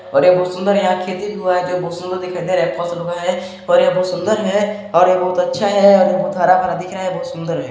और ये बहुत सुन्दर है यहाँ खेती बुआ है जो बहुत सुंदर दिखाई दे रहा है फसल उगा है और ये बहुत सुन्दर है और ये बहुत अच्छा है और ये बहुत हरा - भरा दिख रहा है बहुत सुन्दर हैं।